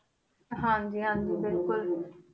ਹਾਂਜੀ ਹਾਂਜੀ ਬਿਲਕੁਲ